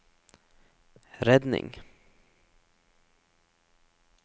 redning